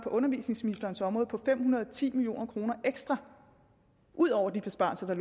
undervisningsministerens område på fem hundrede og ti million kroner ekstra ud over de besparelser der